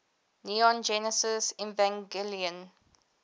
neon genesis evangelion